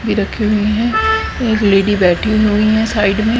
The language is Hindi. भी रखे हुए हैं एक लेडी बैठी हुई है साइड में।